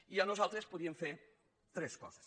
i nos·altres podríem fer tres coses